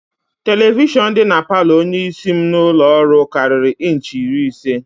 Televishọn dị na palọ onyeisi m n'ụlọọrụ karịrị inchi iri ise